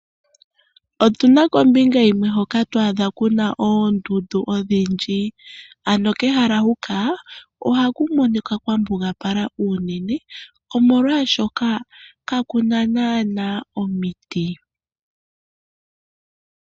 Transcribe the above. Otu na kombinga yimwe hoka to adha ku na oondundu odhindji. Kehala huka ohaku monika kwa mbugapala unene, omolwashoka kaku na naanaa omiti.